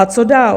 A co dál?